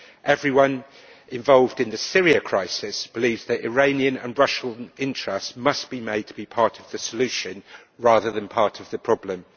Everyone involved in the Syria crisis believes that Iranian and Russian interests must be made to be part of the solution, rather than part of the problem.